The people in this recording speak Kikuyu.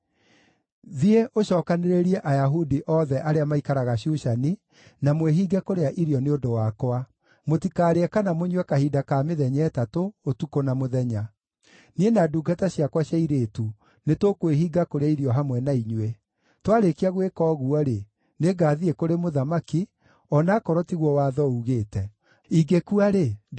“Thiĩ ũcookanĩrĩrie Ayahudi othe arĩa maikaraga Shushani, na mwĩhinge kũrĩa irio nĩ ũndũ wakwa. Mũtikaarĩe kana mũnyue kahinda ka mĩthenya ĩtatũ, ũtukũ na mũthenya. Niĩ na ndungata ciakwa cia airĩtu nĩtũkwĩhinga kũrĩa irio hamwe na inyuĩ. Twarĩkia gwĩka ũguo-rĩ, nĩngathiĩ kũrĩ mũthamaki, o na akorwo tiguo watho ugĩte. Ingĩkua-rĩ, ndĩgĩkue.”